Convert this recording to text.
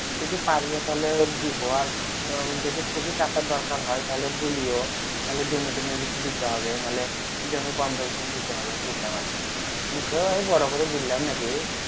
যদি পারি তাহলে দিবো আর যদি খুবেই টাকার দরকার হয় তাহলে বলিও তাহলে জমি তমি বেছি দিতে হবে নাহলে জমি বন্ধক দিতে হবে মুখে আমি বল্লাম না কি